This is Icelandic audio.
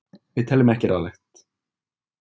Við teljum ekki ráðlegt.